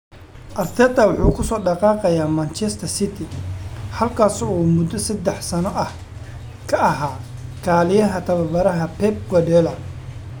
Arteta wuxuu kasoo dhaqaaqayaa Manchester City halkaasoo uu muddo saddex sano ah ka ahaa kaaliyaha tababaraha Pep Guardiola.